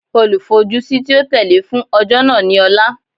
Olufojusi ti o tẹle fun ọjọ naa ni Ọla